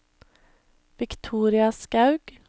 Victoria Skaug